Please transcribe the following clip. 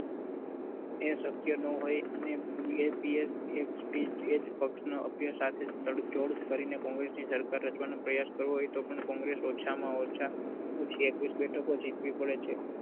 એ શક્ય ના હોય એ જ પક્ષનો અભ્ય સાથે તડજોડ કરીને congress ની સરકાર રચવાનો પ્રયાસ કરવો હોય તો પણ congress ઓછામાં ઓછા અઠ્યાવીસ બેઠકો જીતવી પડે છે